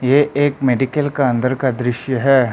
ये एक मेडिकल का अंदर का दृश्य है।